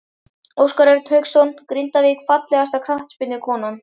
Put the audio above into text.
Óskar Örn Hauksson, Grindavík Fallegasta knattspyrnukonan?